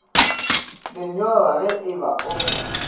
lenyora ge e ba o